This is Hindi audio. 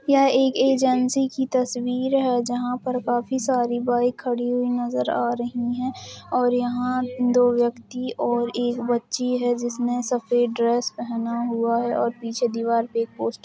यह एक एजेंसी की तस्वीर है जहा पर काफी सारी बाइक खड़ी हुई नज़र आ रही हैं और यहाँ दो व्यक्ति और एक बच्ची हैं जिसने सफ़ेद ड्रेस पहना हुआ है और पीछे दिवार पर एक पोस्ट --